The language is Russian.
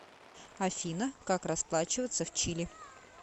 афина как расплачиваться в чили